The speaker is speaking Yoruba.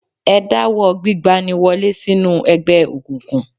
Ẹ dáwọ́ gbígba ni wọlé sínú ẹgbẹ̀ òkùnkùn